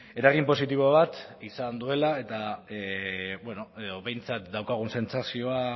eragin positibo bat izan duela eta bueno behintzat daukagun sentsazioa